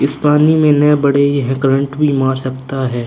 इस पानी में नए बड़े ये है करंट भी मार सकता हैं।